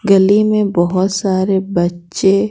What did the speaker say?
गली में बहुत सारे बच्चे--